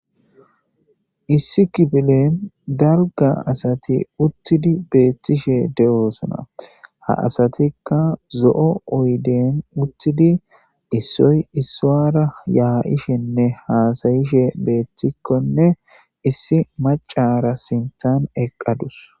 Issi kifilen darga asati uttidi beethtishe de7oosona ha asatikka zo7o oyden uttidi issoy issaara yaa7ishenne haasayishe beeththikkonne issi macara sintan eqqadus